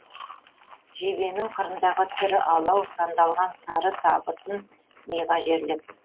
жебенің қырындағы тірі алау сандалған сары табытын миға жерлеп